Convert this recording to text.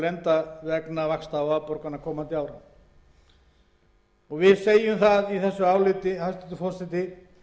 lenda vegna vaxta og afborgana á komandi árum í áliti okkar kemur fram hæstvirtur forseti